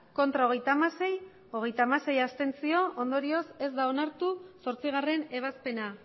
ez hogeita hamasei abstentzioak hogeita hamasei ondorioz ez da onartu zortzigarrena